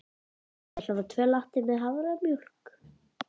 Ég ætla að fá tvo latte með haframjólk.